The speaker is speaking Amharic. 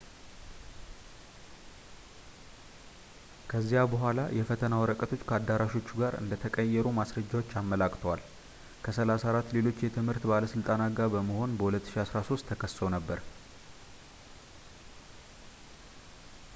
ከዚያ በኋላ የፈተና ወረቀቶች ከአዳራሾቹ ጋር እንደተቀየሩ ማስረጃዎች አመላክተዋል ከ 34 ሌሎች የትምህርት ባለሥልጣናት ጋር በመሆን በ 2013 ተከሰው ነበር